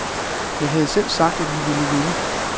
Jeg havde selv sagt, at vi ville vinde.